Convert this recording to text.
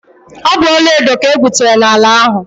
Ọ bụ ọlaedo ka egwutere n'ala ahụ.